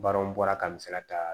Baaraw bɔra ka misaliya ta